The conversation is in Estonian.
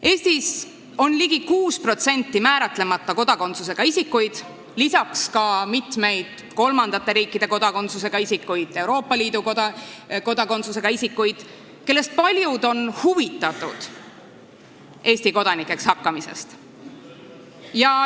Eestis on ligi 6% määratlemata kodakondsusega isikuid, lisaks mitmeid kolmandate riikide kodakondsusega isikuid ja Euroopa Liidu kodakondsusega isikuid, kellest paljud on huvitatud Eesti kodanikuks hakkamisest.